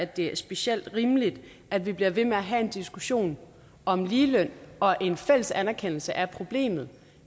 det er specielt rimeligt at vi bliver ved med at have en diskussion om ligeløn og en fælles anerkendelse af problemet